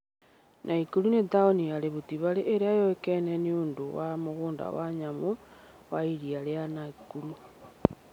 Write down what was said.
Nakuru nĩ taũni ya Rift Valley ĩrĩa yũĩkaine nĩ ũndũ wa mũgũnda wa nyamũ wa Iria rĩa Nakuru.